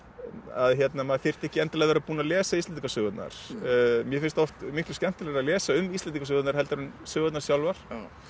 að maður þyrfti ekki endilega að vera búinn að lesa Íslendingasögurnar mér finnst oft miklu skemmtilegra að lesa um Íslendingasögurnar heldur en sögurnar sjálfar